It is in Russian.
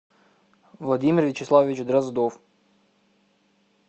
владимир вячеславович дроздов